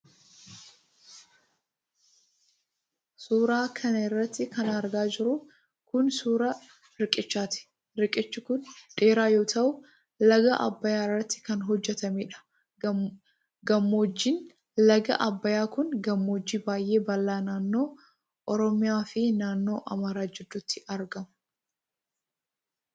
Suura kana irratti kan argaa jirru kun, suura riqichaati. Riqichi kun dheeraa yoo ta'u, laga Abbayaa irratti kan hojjatameedha. Gammoojjiin laga Abbayaa kun, gammoojji baay'ee bal'aa naannoo Oromiyaa fi naannoo Amaaraa gidduutti argama.